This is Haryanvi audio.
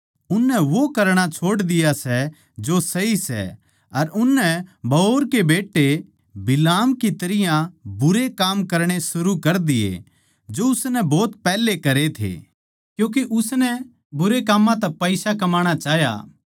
उननै वो करणा छोड़ दिया सै जो सही सै अर उननै बओर के बेट्टे बिलाम की तरियां बुरे काम करणे शुरू कर दिए जो उसनै भोत पैहले करे थे क्यूँके उसनै बुरे काम्मां तै पईसा कमाणा चाह्या